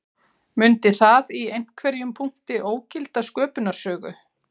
Mundi það í einhverjum punkti ógilda sköpunarsögu